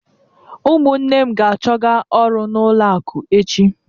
Ụmụnne m ga-achọga ọrụ n'ụlọ akụ echi.